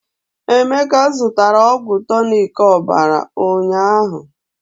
Emeka zụtara ọgwụ tọnic ọbara ụnyaahụ.